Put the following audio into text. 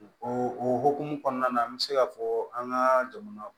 O o o hokumu kɔnɔna na an bɛ se ka fɔ an ka jamana